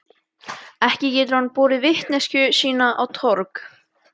Ekki getur hann borið vitneskju sína á torg.